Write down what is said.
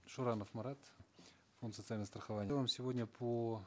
шуранов марат фонд социального страхования сегодня по